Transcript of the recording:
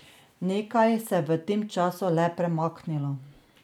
Nekaj se je v tem času le premaknilo.